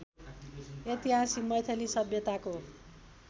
ऐतिहासिक मैथिली सभ्यताको